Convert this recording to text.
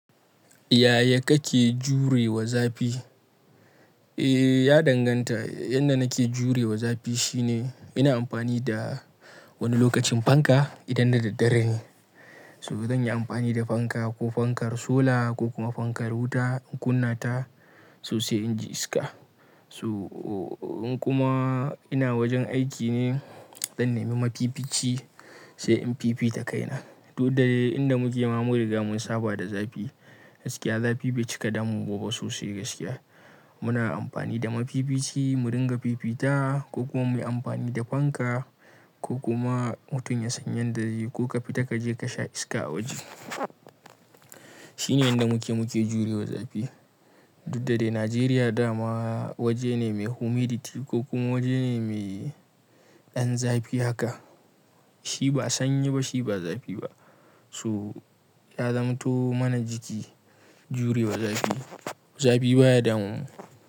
Yaya kake jure wa zafi? Eh, ya danganta. Yanda nake jure wa zafi shine ina amfani da wani lokacin fanka idan na daddare ne. So zan yi amfani da fanka ko fankar sola ko kuma fankar wuta in kunna ta sosai inji iska. So in kuma ina wajen aiki ne, zan nemi mafifici sai in fifita kaina. Duk da dai inda muke ma mun riga mun saba da zafi. Gaskiya zafi bai cika damum mu ba sosai gaskiya. So in kuma ina wajen aiki ne, zan nemi mafifici sai in fifita kaina. Ko kuma mutum ya san yanda zai ko ka fita kaje kasha iska a waje. Shine yanda muke muke jure wa zafi. Duk da dai Najeriya dama waje ne mai humidity ko kuma waje ne mai ɗan zafi haka. Shi ba sanyi ba shi ba zafi ba. So ya zamanto mana jiki jure wa zafi. Zafi baya damun mu.